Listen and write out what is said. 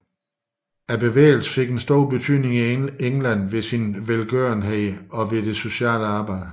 Bevægelsen fik en stor betydning i England ved sin velgørenhed og ved sit sociale arbejde